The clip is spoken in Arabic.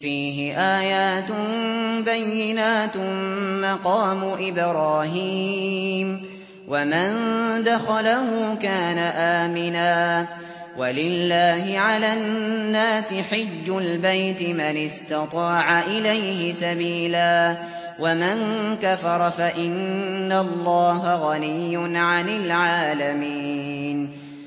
فِيهِ آيَاتٌ بَيِّنَاتٌ مَّقَامُ إِبْرَاهِيمَ ۖ وَمَن دَخَلَهُ كَانَ آمِنًا ۗ وَلِلَّهِ عَلَى النَّاسِ حِجُّ الْبَيْتِ مَنِ اسْتَطَاعَ إِلَيْهِ سَبِيلًا ۚ وَمَن كَفَرَ فَإِنَّ اللَّهَ غَنِيٌّ عَنِ الْعَالَمِينَ